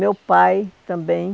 Meu pai, também.